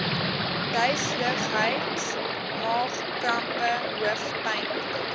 duiseligheid maagkrampe hoofpyne